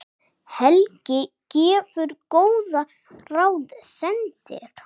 Helgi gefur góð ráð, sendir